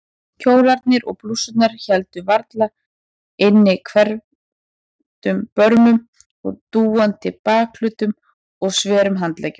Kjólarnir og blússurnar héldu varla inni hvelfdum börmum, dúandi bakhlutum og sverum handleggjum.